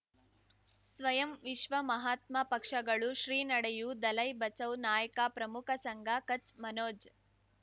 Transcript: ಸ್ವಯಂ ವಿಶ್ವ ಮಹಾತ್ಮ ಪಕ್ಷಗಳು ಶ್ರೀ ನಡೆಯೂ ದಲೈ ಬಚೌ ನಾಯಕ ಪ್ರಮುಖ ಸಂಘ ಕಚ್ ಮನೋಜ್